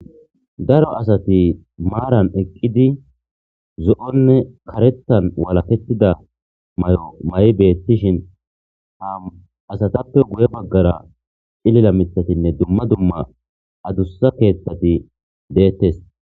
daro asati maaran eqqidi zo'onne kareththan walakettida mayo mayi beettishin ha asatappe guye baggara cilila mitatinne dumma dumma adussa keeththati deettes